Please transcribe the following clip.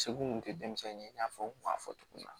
Segu tun tɛ denmisɛnnin ye i n'a fɔ n kun y'a fɔ cogo min na